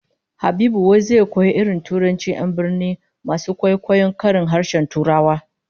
Habibu wai zai koyi irin turancin 'yan birni masu kwaikwayon karin harshen Turawa